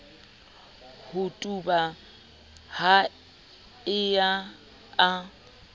ho tuba ha eo a